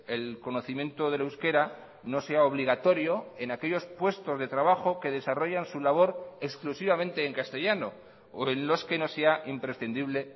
el conocimiento del euskera no sea obligatorio en aquellos puestos de trabajo que desarrollan su labor exclusivamente en castellano o en los que no sea imprescindible